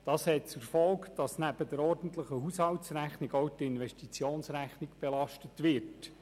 Dies hat zur Folge, dass neben der ordentlichen Haushaltsrechnung auch die Investitionsrechnung belastet wird.